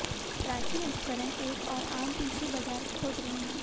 प्राचीन उपकरण एक और आम पिस्सू बाजार खोज रहे हैं